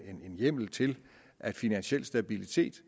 hjemmel til at finansiel stabilitet